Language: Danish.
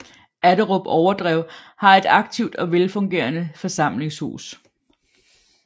Atterup Overdrev har et aktivt og velfungerende forsamlingshus